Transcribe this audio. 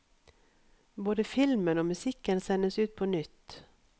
Både filmen og musikken sendes ut på nytt.